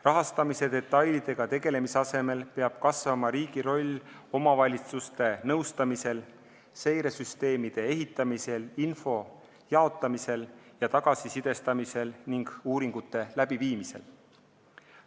Rahastamise detailidega tegelemise asemel peab kasvama riigi roll omavalitsuste nõustamisel, seiresüsteemide ehitamisel, info jagamisel ja tagasisidestamisel ning uuringute läbiviimisel.